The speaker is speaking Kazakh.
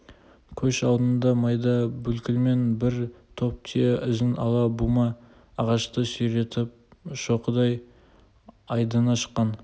көш алдында майда бүлкілмен бір топ түйе ізін ала бума ағашты сүйретіп шоқыдай айдыны шыққан